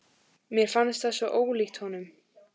Mér fannst það svo ólíkt honum.